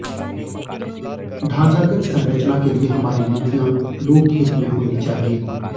ढांचागत संरचना के लिए हमारी नीतियां लोकहित में होनी चाहिए